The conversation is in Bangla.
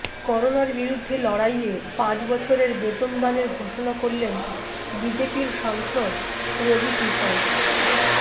করোনার বিরুদ্ধে লড়াইয়ে পাঁচ বছরের বেতন দানের ঘোষণা করলেন বিজেপির সাংসদ রবি কিষণ